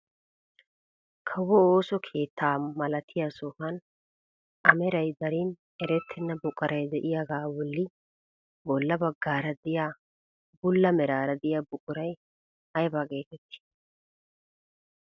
Kawo ooso keettaa malatiyaa sohuwaan a meray darin erettena buquray de'iyaagaa bolli bolla baggaara de'iyaa bulla meraara de'iyaa buquray ayba getettii?